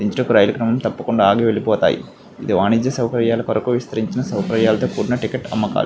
ఇకనుండి రైలు తప్పకుండా ఆగి వెళ్ళిపోతాయి. ఇది వాణిజ్య సౌకర్యాల కొరకు విస్తరించిన ఒక టికెట్ అమ్మకాలు.